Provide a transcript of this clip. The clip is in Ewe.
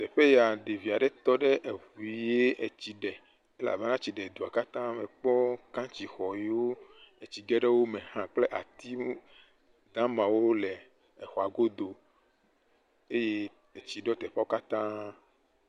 Teƒe ya ɖevi aɖe tɔ ɖe eŋu ye etsi ɖe elabena etsi ɖe dua katã, mekpɔ kantsixɔ yiwo etsi ge ɖe wo me hã kple ati damawo le exɔa godo eye etsi ɖɔ teƒea katã.